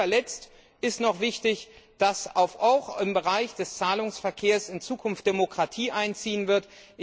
Zu guter Letzt ist noch wichtig, dass auch im Bereich des Zahlungsverkehrs in Zukunft Demokratie einziehen wird.